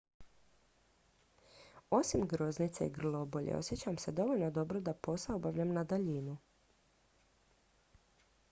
osim groznice i grlobolje osjećam se dovoljno dobro da posao obavljam na daljinu